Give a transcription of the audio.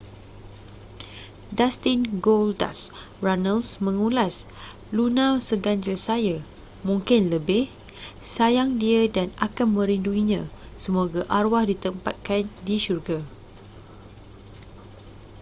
dustin goldust” runnels mengulas luna seganjil saya ...mungkin lebih...sayang dia dan akan merinduinya...semoga arwah ditempatkan di syurga.